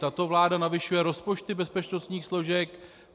Tato vláda navyšuje rozpočty bezpečnostních složek.